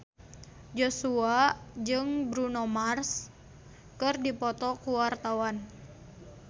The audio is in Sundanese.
Joshua jeung Bruno Mars keur dipoto ku wartawan